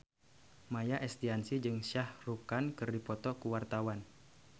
Maia Estianty jeung Shah Rukh Khan keur dipoto ku wartawan